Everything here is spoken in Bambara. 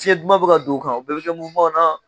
SFiɲɛn dumanw bɛ ka don u kan, u bɛɛ bɛ ka na.